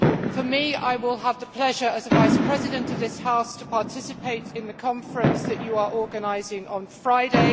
For me, I will have the pleasure, as a Vice President of this House, of participating in the conference that you are organising on Friday.